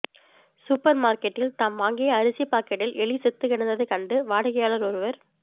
super மார்க்கெட்டில் தாம் வாங்கிய அரிசி பாக்கெட்டில் எலி செத்துக் கிடந்ததை கண்டு வாடிக்கையாளர் ஒருவர்